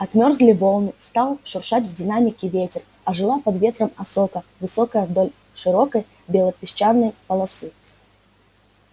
отмёрзли волны стал шуршать в динамике ветер ожила под ветром осока высокая вдоль широкой белопесчаной полосы